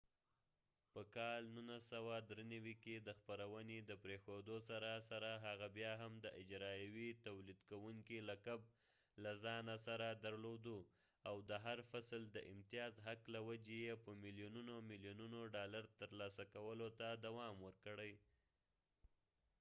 په کال 1993 کې د خپرونې د پریښودو سره سره هغه بیا هم د اجرائیوي تولیدکوونکي لقب له ځانه سره درلوده او د هر فصل د امتیاز حق له وجې یې په ملیونونه ملیونونه ډالر ترلاسه کولو ته دوام ورکړی